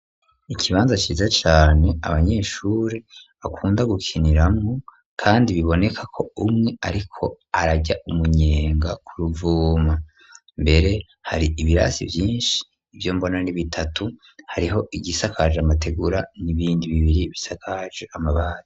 Ikibanza ciza cane, abanyeshuri bakunda gukiniramwo, kandi biboneka ko, umwe ariko ararya umunyenga, ku ruvuma; mbere, hari ibirasi vyinshi; ivyo mbona ni bitatu; hariho igisakaje amategura, n'ibindi bibiri, bisakaje amabati.